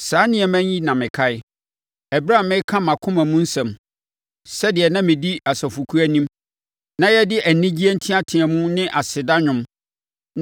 Saa nneɛma yi na mekae ɛberɛ a mereka mʼakoma mu nsɛm; sɛdeɛ na medi asafokuo anim, na yɛde anigyeɛ nteateam ne aseda nnwom